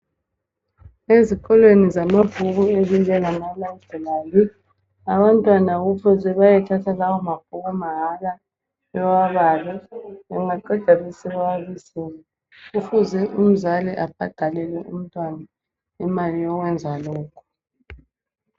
Ezikolweni zamabhuku ezinjengama library abantwana kufuze bayethatha lawamabhuku mahala bewabale bengaqeda besebewabisela kufuze umzali abhadalele umntwana imali yokwenza lokho